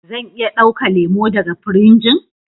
Zan iya dauka lemu daga firijin?